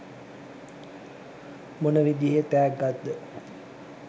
මොන විදිහේ තෑග්ගක්ද?